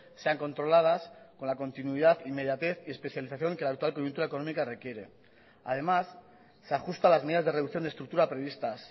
sean controladas con la continuidad inmediatez y especialización que la actual coyuntura económica requiere además se ajusta a las medidas de reducción de estructura previstas